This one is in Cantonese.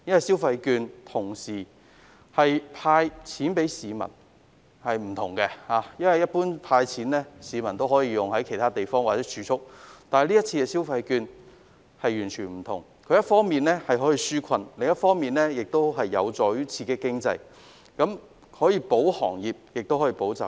消費券有別於向市民"派錢"，在政府"派錢"後，市民可把金錢用於其他地方或儲蓄，但這次的消費券完全不同，一方面可以紓困，另一方面有助於刺激經濟，繼而保行業和保就業。